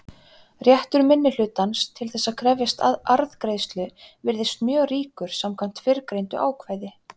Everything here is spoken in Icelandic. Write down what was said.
Réttur minnihlutans til þess að krefjast arðgreiðslu virðist mjög ríkur samkvæmt fyrrgreindu ákvæði.